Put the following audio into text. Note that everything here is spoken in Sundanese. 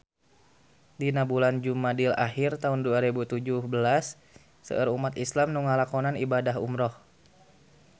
Dina bulan Jumadil ahir taun dua rebu tujuh belas seueur umat islam nu ngalakonan ibadah umrah